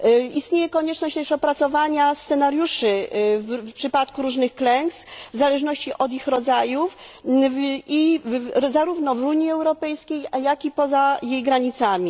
Istnieje też konieczność opracowania scenariuszy w przypadku różnych klęsk w zależności od ich rodzajów, zarówno w Unii Europejskiej, jak i poza jej granicami.